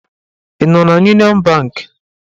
Ị nọ n'Uniọn bank?